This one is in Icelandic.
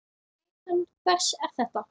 Rithönd hvers er þetta?